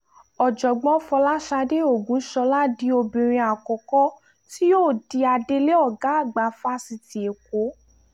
ọ̀jọ̀gbọ́n fọlásadé ògúnṣọlá di obìnrin àkọ́kọ́ tí yóò di adelé ọ̀gá àgbà fásitì ẹ̀kọ́